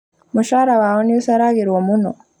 Mũcara wao nĩũceragĩrwo mũno